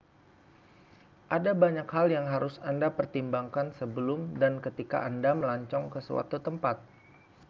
ada banyak hal yang harus anda pertimbangkan sebelum dan ketika anda melancong ke suatu tempat